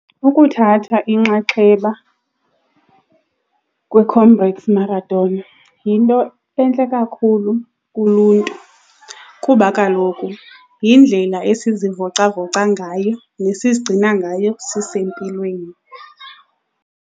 Ukuthatha inxaxheba kwiComrades Marathon yinto entle kakhulu kuluntu kuba kaloku yindlela esizivocavoca ngayo nesizigcina ngayo sisempilweni.